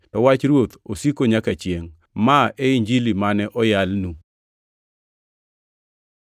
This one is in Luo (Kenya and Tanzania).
to wach Ruoth osiko manyaka chiengʼ.” + 1:25 \+xt Isa 40:6-8\+xt* Ma e Injili mane oyalnu.